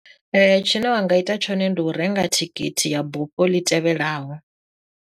Tshine wa nga ita tshone ndi u renga thikhithi ya bufho ḽi tevhelaho.